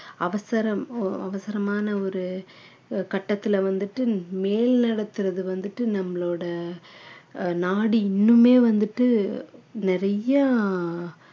அவசரம் ஒ~ அவசரமான ஒரு அஹ் கட்டத்துல வந்துட்டு மேல் நடத்துறது வந்துட்டு நம்மளோட ஆஹ் நாடு இன்னுமே வந்துட்டு நிறையா